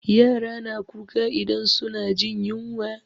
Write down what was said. Yara na kuka idan su na jin yunwa